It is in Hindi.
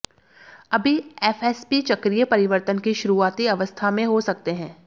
अभी एफएसपी चक्रीय परिवर्तन की शुरुआती अवस्था में हो सकते हैं